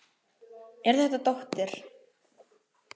Er þetta dóttir.